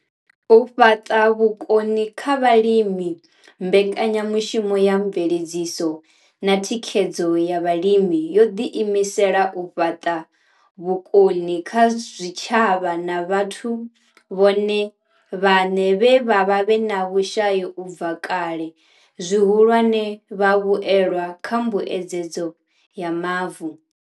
U fhaṱa vhukoni kha vhalimi mbekanyamushumo ya mveledziso na Thikhedzo ya Vhalimi yo ḓiimisela u fhaṱa vhukoni kha zwitshavha na vhathu vhone vhaṋe vhe vha vha vhe na vhushai u bva kale, zwihulwane, vhavhuelwa kha mbuedzedzo ya mavu.